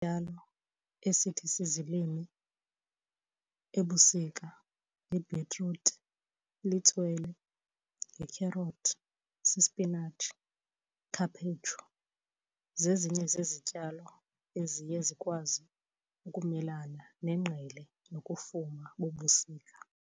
esithi sizilime ebusika yibhitruthi, litswele, yikherothi, sisipinatshi, khaphetshu. Zezinye zezityalo eziye zikwazi ukumelana nengqele nokufuma bobusika.